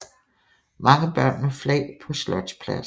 Mange børn med flag på slotspladsen